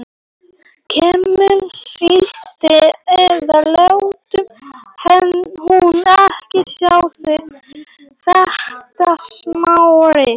Kemur síldin eða lætur hún ekki sjá sig þetta sumarið.